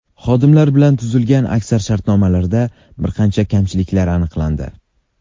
Xodimlar bilan tuzilgan aksar shartnomalarda bir qancha kamchiliklar aniqlandi.